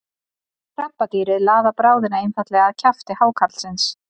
krabbadýrið laðar bráðina einfaldlega að kjafti hákarlsins